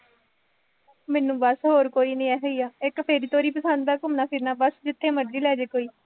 ਮੈਨੂੰ ਬਸ ਹੋਰ ਕੋਈ ਨਹੀ ਇਹੀ ਹੈ, ਇੱਕ ਫੇਰੀ ਤੋਰੀ ਪਸੰਦ ਹੈ, ਘੁੰਮਣਾ ਫਿਰਨਾ ਬਸ ਜਿੱਥੇ ਮਰਜ਼ੀ ਲੈ ਜਾਏ ਕੋਈ